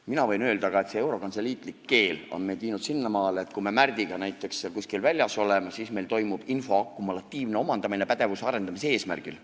Mina võin aga öelda, et see eurokantseliitlik keel on meid viinud sinnamaale, et kui me Märdiga näiteks kuskil väljas oleme, siis meil toimub info akumulatiivne omandamine pädevuse arendamise eesmärgil.